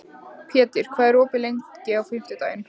Pétur, hvað er opið lengi á fimmtudaginn?